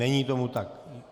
Není tomu tak.